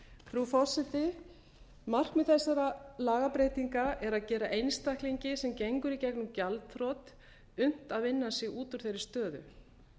frú forseti markmið þessara lagabreytinga er að gera einstaklingi sem gengur í gegnum gjaldþrot unnt að vinna sig út úr þeirri stöðu